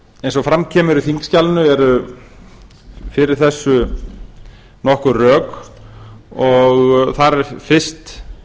eins og fram kemur í þingskjalinu eru fyrir þessu nokkur rök og þar er fyrst